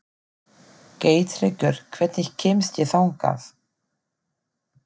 Geirtryggur, hvernig kemst ég þangað?